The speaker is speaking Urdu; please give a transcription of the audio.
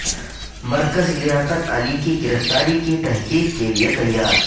مرکز لیاقت علی کی گرفتاری کی تحقیق کے لیے تیار